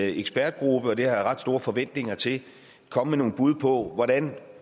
ekspertgruppe og det har jeg ret store forventninger til komme med nogle bud på hvordan vi